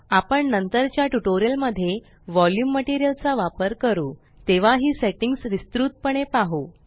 आपण नंतरच्या ट्यूटोरियल मध्ये व्हॉल्यूम मटेरियल चा वापर करू तेव्हा ही सेट्टिंग्स विस्तृत पणे पाहु